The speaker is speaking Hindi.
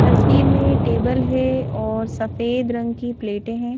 तस्वीर में टेबल है और सफेद रंग की प्लेटें हैं।